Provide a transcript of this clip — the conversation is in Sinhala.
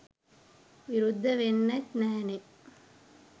විරුද්ධ වෙන්නෙත් නෑනේ.